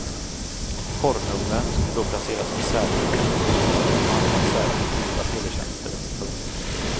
Porrnumren skulle då placeras i en särskild kategori tillsammans med andra särskilt dyra teletjänster. punkt